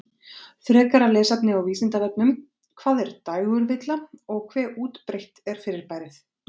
Frekara lesefni á Vísindavefnum: Hvað er dægurvilla og hve útbreitt er fyrirbærið?